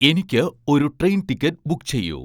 എനിക്ക് ഒരു train ticket book ചെയ്യൂ